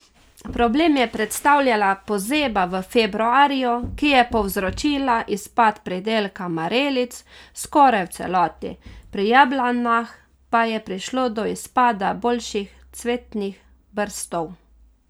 Problem je predstavljala pozeba v februarju, ki je povzročila izpad pridelka marelic skoraj v celoti, pri jablanah pa je prišlo do izpada boljših cvetnih brstov.